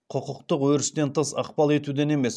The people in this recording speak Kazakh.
құқықтық өрістен тыс ықпал етуден емес